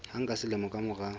hang ka selemo ka mora